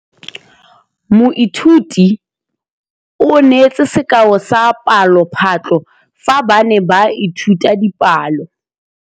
Moithuti o neetse sekaô sa palophatlo fa ba ne ba ithuta dipalo.